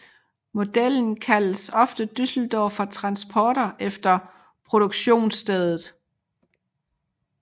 Modellen kaldes ofte Düsseldorfer Transporter efter produktionsstedet